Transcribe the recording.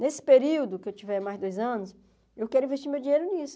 Nesse período que eu tiver mais dois anos, eu quero investir meu dinheiro nisso.